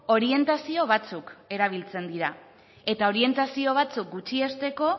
orientazio batzuk erabiltzen dira eta orientazio batzuk gutxiesteko